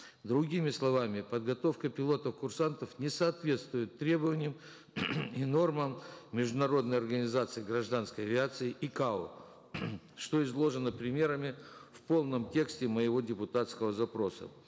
другими словами подготовка пилотов курсантов не соответствует требованиям и нормам международной организации гражданской авиации икао что изложено примерами в полном тексте моего депутатского запроса